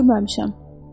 Görməmişəm.